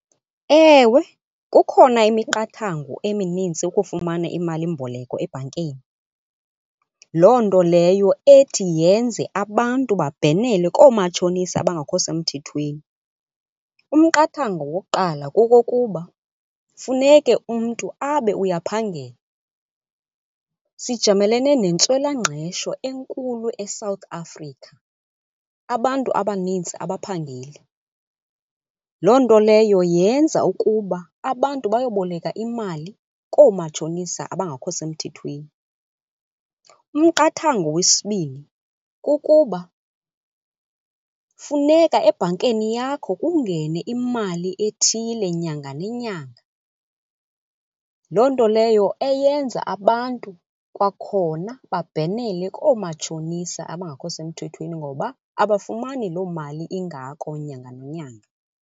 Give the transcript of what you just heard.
Ewe, kukhona imiqathango eminintsi ukufumana imalimboleko ebhankeni, loo nto leyo ethi yenze abantu babhenele koomatshonisa abangekho semthethweni. Umqathango wokuqala kokokuba funeke umntu abe uyaphangela. Sijamelene nentswelangqesho enkulu eSouth Africa, abantu abanintsi abaphangeli. Loo nto leyo yenza ukuba abantu bayoboleka imali koomatshonisa abangekho semthethweni. Umqathango wesibini kukuba funeka ebhankeni yakho kungene imali ethile nyanga nenyanga, loo nto leyo eyenza abantu kwakhona babhenele koomatshonisa abangakho semthethweni ngoba abafumani loo mali ingako nyanga nenyanga.